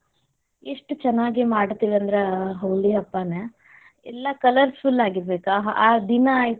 ಎಷ್ಟ ಚನ್ನಾಗೀ ಮಾಡತೇವಿ ಅಂದ್ರ ಹೋಳಿ ಹಬ್ಬನ, ಎಲ್ಲಾ colourful ಆಗಿರಬೇಕ್ ಆ ದಿನ ಆಯ್ತು.